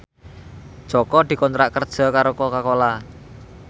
Jaka dikontrak kerja karo Coca Cola